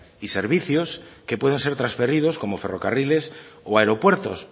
y servicios que pueden ser transferidos como ferrocarriles o aeropuertos